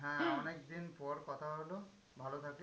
হ্যাঁ অনেকদিন পর কথা হলো, ভালো থাকিস।